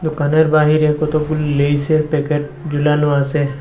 দুকানের বাহিরে কতগুলো লেইসে র প্যাকেট জুলানো আসে।